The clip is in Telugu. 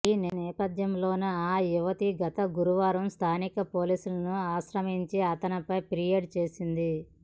ఈ నేపథ్యంలోనే ఆ యువతి గత గురువారం స్థానిక పోలీసులను ఆశ్రయించి అతనిపై ఫిర్యాదు చేసింది